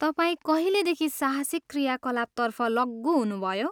तपाईँ कहिलेदेखि साहसिक क्रियाकलापतर्फ लग्गु हुनुभयो?